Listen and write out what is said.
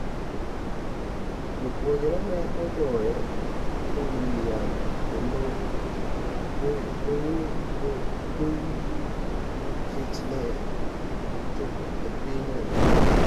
Jopuonjre ne ogoye e wi yath kendo goyogi nikech ne gichopo e piny Naijeria